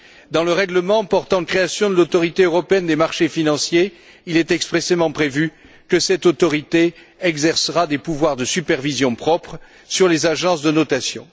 Dans le règlement portant création de l'Autorité européenne des marchés financiers, il est expressément prévu que cette autorité exercera des pouvoirs de supervision propres sur les agences de notation.